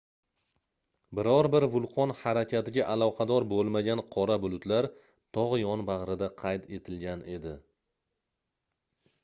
biror bir vulqon harakatiga aloqador boʻlmagan qora bulutlar togʻ yonbagʻrida qayd etilgan edi